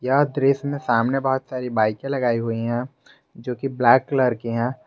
यह दृश्य में सामने बहुत सारी बाईकें लगाई हुई हैं जो की ब्लैक कलर की है।